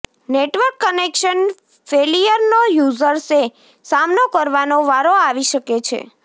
network connection ફેલીયરનો યુઝર્સે સામનો કરવાનો વારો આવી શકે છે